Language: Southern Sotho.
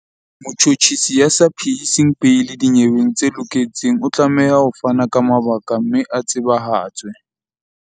Motjhotjhisi ya sa phehiseng beili dinyeweng tse loketseng o tlameha ho fana ka mabaka mme a tsebahatswe.